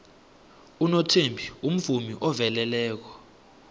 unothembi umvumi oveleleko